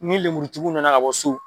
Ni lenburutigiw nana ka bɔ so